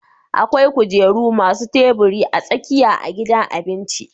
Akwai kujeru masu tabiri a tsakiya a gidan abinci